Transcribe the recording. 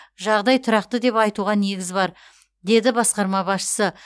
жағдай тұрақты деп айтуға негіз бар деді басқарма басшысы